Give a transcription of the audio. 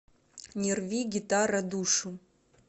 не рви гитара душу